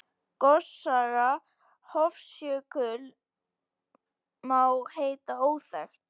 Gossaga Hofsjökuls má heita óþekkt.